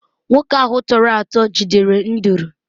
nwoke ahụ tọrọ atọ jidere nduru